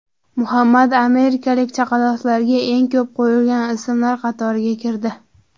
Muhammad amerikalik chaqaloqlarga eng ko‘p qo‘yilayotgan ismlar qatoriga kirdi.